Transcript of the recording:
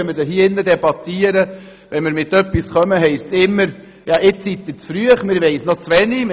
Wenn wir ein Anliegen vorbringen, heisst es immer, wir wären zu früh, man wisse noch zu wenig.